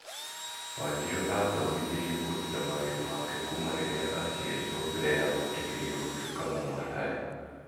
Wanjiru aathomithirio kũruta mawĩra make kuuma rĩrĩa aaciarirũo mbere ya gwĩtĩkĩrio gũtuĩka mũmaraya.